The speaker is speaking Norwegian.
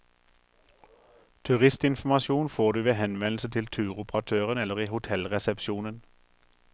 Turistinformasjon får du ved henvendelse til turoperatøren eller i hotellresepsjonen.